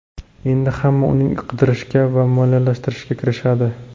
Endi hamma uni qidirishga va moliyalashtirishga kirishadi.